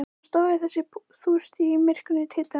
Hann stóð yfir þessari þúst í myrkrinu, titrandi.